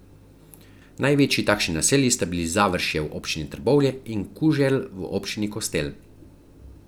Največji takšni naselji sta bili Završje v občini Trbovlje in Kuželj v občini Kostel.